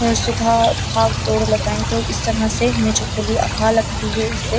और सुबह भाग-दौड़ लगाए तो इस तरह से हमें जो खुली हवा लगती है। इससे --